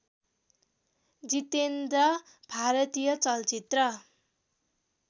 जितेन्द्र भारतीय चलचित्र